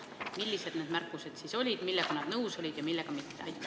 Millised need märkused siis olid, millega nad nõus olid ja millega mitte?